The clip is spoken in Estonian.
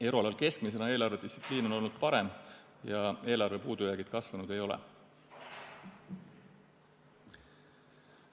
Euroalal keskmisena on eelarvedistsipliin olnud parem ja eelarve puudujäägid kasvanud ei ole.